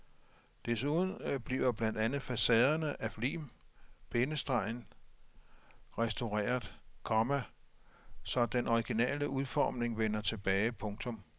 Desuden bliver blandt andet facaderne af lim- bindestreg sten restaureret, komma så den originale udformning vender tilbage. punktum